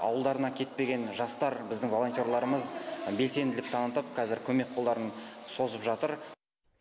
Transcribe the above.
ауылдарына кетпеген жастар біздің волонтерларымыз белсенділік танытып қазір көмек қолдарын созып жатыр